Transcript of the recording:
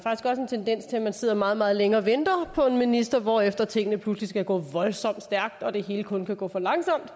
tendens til at man sidder meget meget længe og venter på en minister hvorefter tingene pludselig skal gå voldsomt stærkt og det hele kun kan gå for langsomt